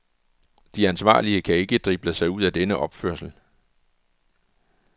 De ansvarlige kan ikke drible sig ud af denne opførsel.